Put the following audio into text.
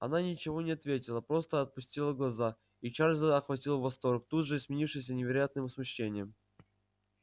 она ничего не ответила просто отпустила глаза и чарлза охватил восторг тут же сменившийся невероятным смущением